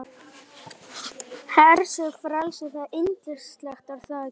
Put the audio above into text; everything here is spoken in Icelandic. Hersir, frelsið, það er yndislegt er það ekki?